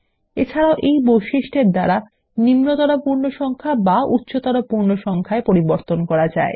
এছাড়াও এই বৈশিষ্ট্যৰ দ্বারা নিম্নতর পূর্ণ সংখ্যা বা উচ্চতর পূর্ণ সংখ্যায় পরিবর্তন করা যায়